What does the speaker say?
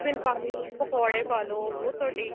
ਪਾਲੋ ਪਕੋੜੇ ਪਾਲੋ ਉਹ ਤੁਹਾਡੀ ਇੱਛਾ